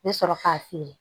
N bɛ sɔrɔ k'a feere